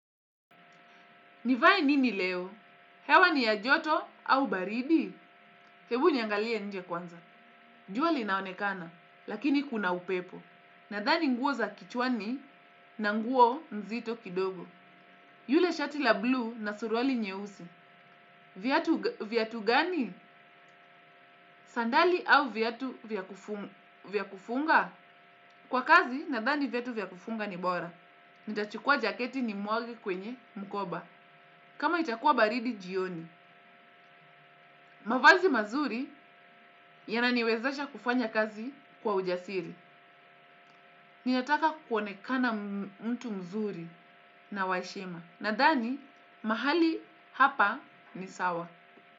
Nivae nini leo? Hewa ni ya joto au baridi? Hebu niangalia nje kwanza. Jua linaonekana, lakini kuna upepo. Nadhani nguo za kichwani na nguo nzito kidogo. Yule shati la blue na suruali nyeusi. Viatu gani? Sandali au viatu vya kufunga? Kwa kazi, nadhani viatu vya kufunga ni bora. Nitachukua jaketi ni mwage kwenye mkoba. Kama itakuwa baridi jioni. Mavazi mazuri yananiwezasha kufanya kazi kwa ujasiri. Ninataka kuonekana mtu mzuri na waheshima. Nadhani, mahali hapa ni sawa.